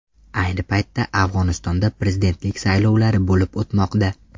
Ayni paytda Afg‘onistonda prezidentlik saylovlari bo‘lib o‘tmoqda.